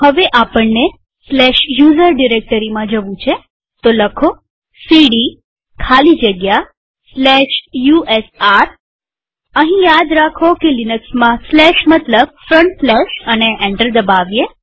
હવે આપણને usr ડિરેક્ટરીમાં જવું છેcd ખાલી જગ્યા usr લખીએઅહીં યાદ રાખો કે લિનક્સમાં સ્લેશ મતલબ ફ્રન્ટસ્લેશ અને એન્ટર દબાવીએ